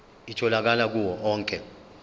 itholakala kuwo onke